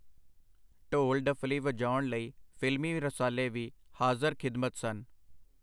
ਢੋਲ-ਡੱਫਲੀ ਵਜਾਉਣ ਲਈ ਫਿਲਮੀ ਰਸਾਲੇ ਵੀ ਹਾਜ਼ਰ-ਖਿਦਮਤ ਸਨ.